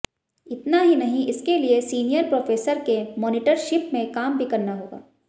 इतना ही नहीं इसके लिए सीनियर प्रोफेसर के मॉनिटरशिप में काम भी करना होगा